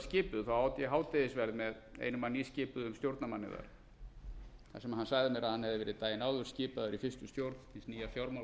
skipuð át ég hádegisverð með einum af nýskipuðum stjórnarmanni þar þar sem hann sagði mér að hann hefði verið daginn áður skipaður í fyrstu stjórn nýja